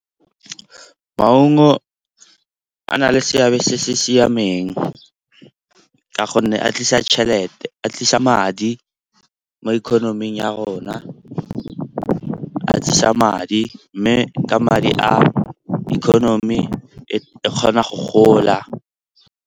Maungo a na le seabe se se siameng ka gonne a tlisa tšhelete, a tlisa madi mo economy-ing ya rona. A tlisa madi mme ka madi a economy e kgona go gola.